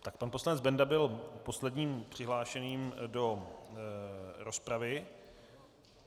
Tak pan poslanec Benda byl posledním přihlášeným do rozpravy.